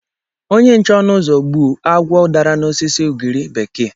Onye nche ọnụ ụzọ gbuo agwọ dara n’osisi ugiri bekee.